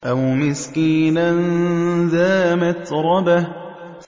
أَوْ مِسْكِينًا ذَا مَتْرَبَةٍ